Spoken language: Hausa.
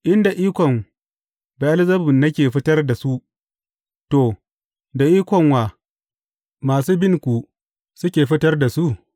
In da ikon Be’elzebub nake fitar da su, to, da ikon wa masu binku suke fitar da su?